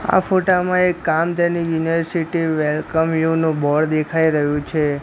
આ ફોટા માં એક કામધેનુ યુનિવર્સિટી વેલકમ યુ નું બોર્ડ દેખાય રહ્યું છે.